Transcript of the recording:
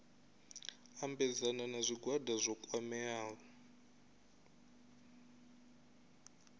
ambedzana na zwigwada zwo kwameaho